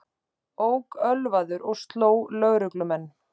Ók ölvaður og sló lögreglumenn